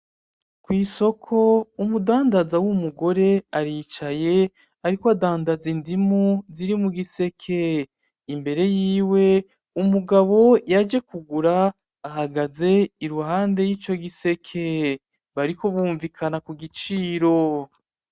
Kw'isoko umudandaza w'umugore aricaye ariko adandaza indimu ziri mugiseke. Imbere yiwe umugabo yaje kugura ahagaze iruhande yico giseke bariko bumvikana igiciro.